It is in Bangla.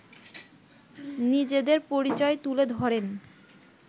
নিজেদের পরিচয় তুলে ধরেন